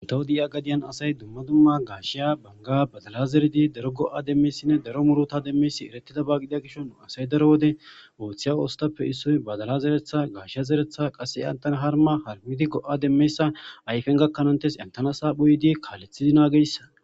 Nntawo di7iya gadiyan asay dumma dumma gaashiya banga badala zeredi daro go7a demmeyssinne daro muruta demmeysi eretida baa gidia gishon asay daro wode ooththiya oostappe issoy badala zeretha gaashiya zeretha qase antana harma harmidi go7a demmeyssa ayfen gakkanantes entana saa phuydi kaalethidi naageyssan